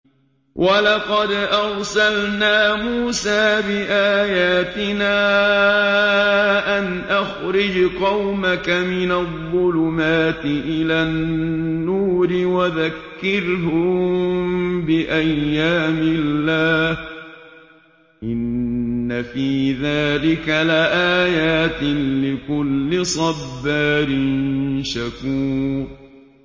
وَلَقَدْ أَرْسَلْنَا مُوسَىٰ بِآيَاتِنَا أَنْ أَخْرِجْ قَوْمَكَ مِنَ الظُّلُمَاتِ إِلَى النُّورِ وَذَكِّرْهُم بِأَيَّامِ اللَّهِ ۚ إِنَّ فِي ذَٰلِكَ لَآيَاتٍ لِّكُلِّ صَبَّارٍ شَكُورٍ